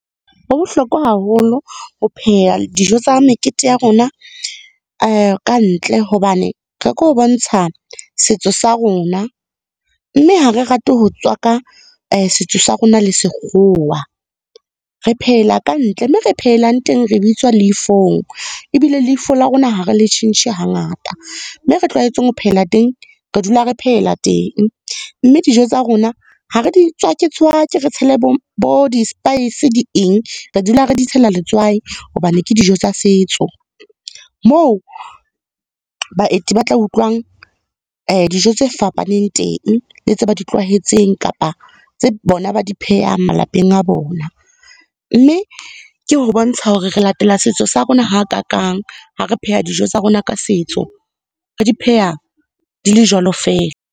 Ho bohlokwa haholo ho pheha dijo tsa mekete ya rona ka ntle hobane, ka ke bontsha setso sa rona. Mme ha re rate ho tswaka setso sa rona le sekgowa. Re phehela ka ntle mme re phehelang teng re bitswa leifong, ebile leifo la rona ha re le tjhentjhe hangata. Mme re tlwaetseng ho phehela teng, re dula re phehela teng. Mme dijo tsa rona ha re di tswake-tswake re tshele bo di spice di eng. Re dula re di tshela letswai hobane ke dijo tsa setso, moo baeti ba tla utlwang dijo tse fapaneng teng, le tse ba di tlwaetseng kapa tse bona ba di phehang malapeng a bona. Mme, ke ho bontsha hore re latela setso sa rona hakakang ha re pheha dijo tsa rona ka setso, re di pheha di le jwalo feela.